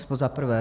To za prvé.